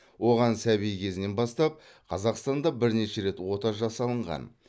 оған сәби кезінен бастап қазақстанда бірнеше рет ота жасалынған